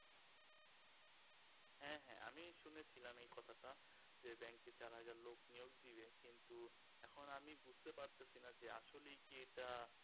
হ্যা হ্যা আমি শুনেছিলাম এই কথাটা যে ব্যাংকে চার হাজার লোক নিয়োগ দিবে কিন্তু এখন আমি বুজতে পারতেছিনা যে আসলেই কি এটা